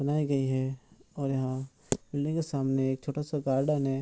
बनाई गई है और यहाँ बिल्डिंग सामने एक छोटा सा गार्डन है।